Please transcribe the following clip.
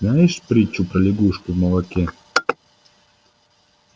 знаешь притчу про лягушку в молоке